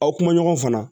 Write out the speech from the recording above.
Aw kuma ɲɔgɔn fana